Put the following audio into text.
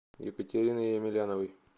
екатерины емельяновой